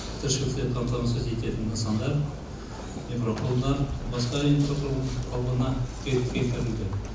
тіршілікпен қамтамасыз ететін нысандар жолдар басқа инфрақұрылым қалпына келтірілді